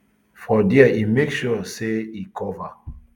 for dia e make sure say e cover